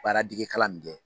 Baaradegekalan min kɛ